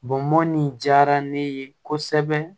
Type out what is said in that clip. Bɔnmɔn nin diyara ne ye kosɛbɛ